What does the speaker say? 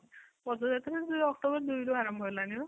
ପଦଯାତ୍ରା ସେ ଯୋଉ ଅକ୍ଟୋବର ଦୁଇ ରୁ ଆରମ୍ଭ ହେଲାଣି ନା